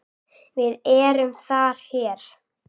VIÐ ERUM ÞAR HÉR